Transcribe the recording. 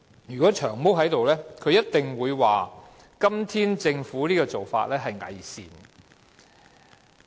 如果"長毛"在席，他一定會說政府今天的做法是偽善的。